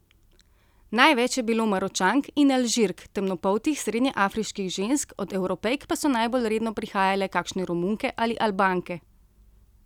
Največ je bilo Maročank in Alžirk, temnopoltih srednjeafriških žensk, od Evropejk pa so najbolj redno prihajale kakšne Romunke ali Albanke.